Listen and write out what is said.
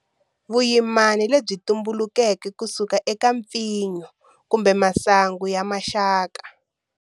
Vuyimana lebyi tumbulukeke kusuka eka mpfinyo kumbe masangu ya maxaka.